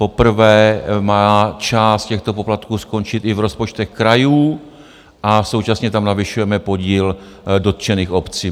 Poprvé má část těchto poplatků skončit i v rozpočtech krajů a současně tam navyšujeme podíl dotčených obcí.